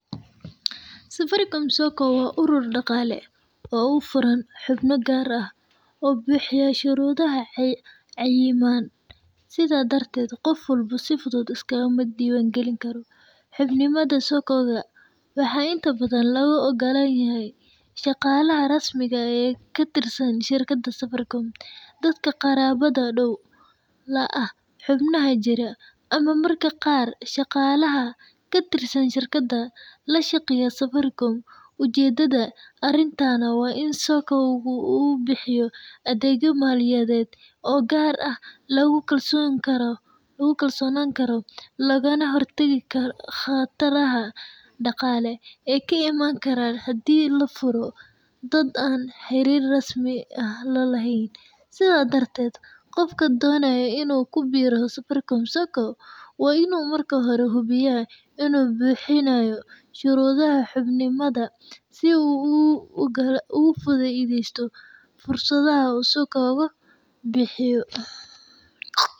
Safaricom sacco waa urur daqale oo ufuran xubna gar ah oo bixiyah sharudaha cayiman, sidhaa darded qoof walbo iskamadiwan galini karo, xubin nimada sacco waxa inta badhan loga ogalanyahay shaqalaha rasmiga ee eh katirsan shaqalaha safaricom, dadka qarabada dow laa ah xubnaha jira ama marka qar shaqalaha katirsan shirkada lashaqeyo safaricom, ujedada arintan waa in saccoga ubixiyo adegyo malinyaded oo gar ah lagu kalsonani karo laganah hortagi karo qabtarada daqale aay kaimani karan hadi lafuro dad anxarir rasmi ah lalaheyn, sidhaa darded qofka donayo inu kubiro safaricom sacco waa inu marki hore u hubiya inu buxinayo sharudaha xubinnimada sidha uu oga faideyso fursadaha usokobo bixiyo.